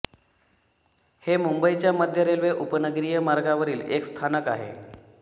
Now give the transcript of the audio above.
हे मुंबईच्या मध्य रेल्वे उपनगरीय मार्गावरील एक स्थानक आहे